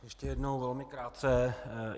Ještě jednou velmi krátce.